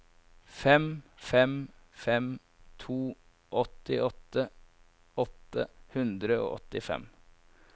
fem fem fem to åttiåtte åtte hundre og åttifem